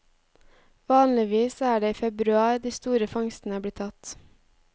Vanligvis er det i februar de store fangstene blir tatt.